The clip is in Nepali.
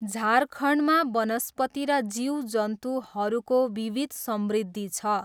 झारखण्डमा वनस्पति र जीवजन्तुहरूको विविध समृद्धि छ।